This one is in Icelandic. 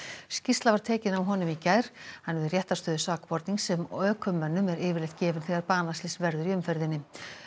skýrsla var tekin af honum í gær hann hefur réttarstöðu sakbornings sem ökumönnum er yfirleitt gefin þegar banaslys verður í umferðinni